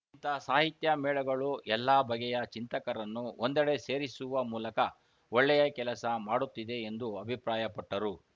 ಇಂಥ ಸಾಹಿತ್ಯ ಮೇಳಗಳು ಎಲ್ಲ ಬಗೆಯ ಚಿಂತಕರನ್ನು ಒಂದೆಡೆ ಸೇರಿಸುವ ಮೂಲಕ ಒಳ್ಳೆಯ ಕೆಲಸ ಮಾಡುತ್ತಿದೆ ಎಂದು ಅಭಿಪ್ರಾಯಪಟ್ಟರು